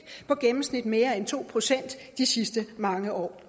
gennemsnit mere end to procent de sidste mange år